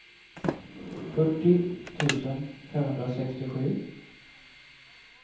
fyrtio tusen femhundrasextiosju